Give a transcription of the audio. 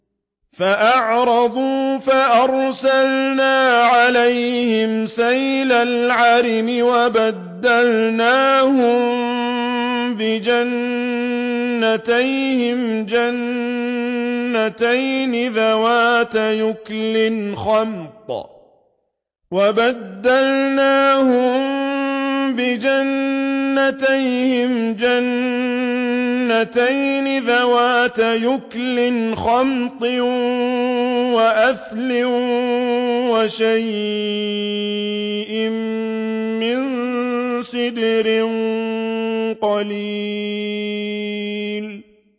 فَأَعْرَضُوا فَأَرْسَلْنَا عَلَيْهِمْ سَيْلَ الْعَرِمِ وَبَدَّلْنَاهُم بِجَنَّتَيْهِمْ جَنَّتَيْنِ ذَوَاتَيْ أُكُلٍ خَمْطٍ وَأَثْلٍ وَشَيْءٍ مِّن سِدْرٍ قَلِيلٍ